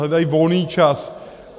Hledají volný čas.